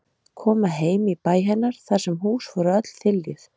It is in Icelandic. Koma heim í bæ hennar þar sem hús voru öll þiljuð.